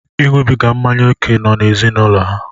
Iṅụbiga mmanya ókè nọ n'ezinụlọ ha.